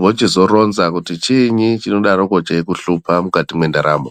vochizoronza kuti chiinyi chinodaroko cheikuhlupa mukati mwendaramo.